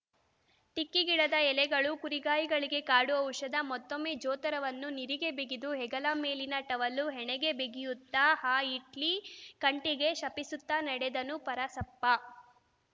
ಟಿಕ್ಕಿ ಗಿಡದ ಎಲೆಗಳು ಕುರಿಗಾಯಿಗಳಿಗೆ ಕಾಡು ಔಷಧ ಮತ್ತೊಮ್ಮೆ ಜೋತರವನ್ನು ನಿರಿಗೆ ಬಿಗಿದು ಹೆಗಲಮೇಲಿನ ಟವಲ್ಲು ಹಣೆಗೆ ಬಿಗಿಯುತ್ತಾ ಆ ಹಿಟ್ಲಿ ಕಂಟಿಗೆ ಶಪಿಸುತ್ತಾ ನಡೆದನು ಪರಸಪ್ಪ